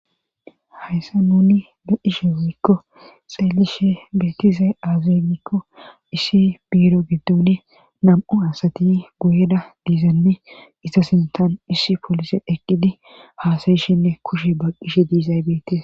Hayssa nuni le ishe woykko xeelishe beetize azimikko issi biiro giddone nam'u asati goyeda diizenne iza sintan issi polise eqqidi haasayishinne kushe baqqishe diizaybeete.